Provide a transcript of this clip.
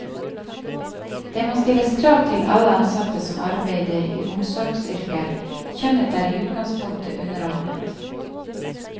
Det må stilles krav til alle ansatte som arbeider i omsorgsyrker, kjønnet er i utgangspunktet underordnet.